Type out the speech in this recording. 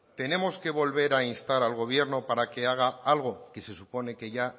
tenemos que volver a instar al gobierno para que haga algo que se supone que ya